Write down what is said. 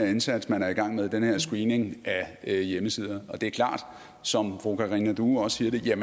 indsats man er i gang med altså den her screening af hjemmesider og det er klart som fru karina due også siger